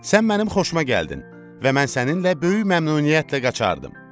Sən mənim xoşuma gəldin və mən səninlə böyük məmnuniyyətlə qaçardım.